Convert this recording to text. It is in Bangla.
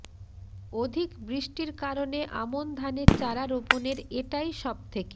অধিক বৃষ্টির কারণে আমন ধানের চারা রোপণের এটাই সব থেকে